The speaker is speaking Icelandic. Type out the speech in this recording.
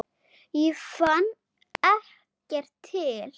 Ég fann ekkert til.